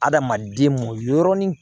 Adamaden mɔ yɔrɔnin